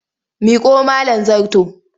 Miƙo mIn zarto!